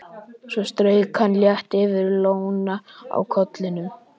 Svo strauk hann létt yfir lóna á kollinum.